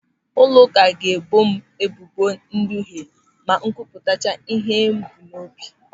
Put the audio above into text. Ụlọụka ga-ebo m ebubo nduhe ma m kwupụtacha ịhe m bu n'obi.